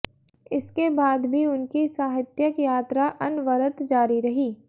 इसके बाद भी उनकी साहित्यक यात्रा अनवरत जारी रही